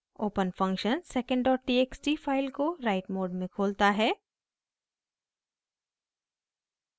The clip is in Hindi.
ओपन फंक्शन secondtxt फाइल को write मोड में खोलता है